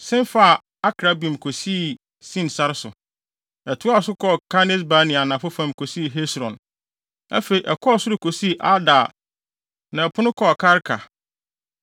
sen faa Akrabbim kosii Sin sare so. Ɛtoaa so kɔɔ Kades-Barnea anafo fam kosii Hesron. Afei ɛkɔɔ soro kosii Adar na ɛpono kɔɔ Karka.